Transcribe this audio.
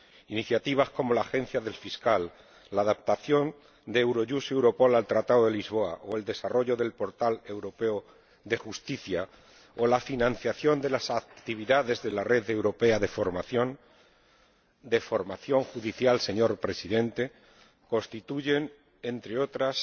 Iniciativas como la Fiscalía Europea, la adaptación de Eurojust y Europol al Tratado de Lisboa o el desarrollo del portal europeo de justicia, o la financiación de las actividades de la Red Europea de Formación Judicial, señor Presidente, constituyen, entre otras,